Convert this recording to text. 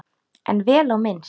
En vel á minnst.